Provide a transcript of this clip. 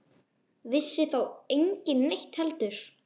Vissi þá enginn neitt heldur?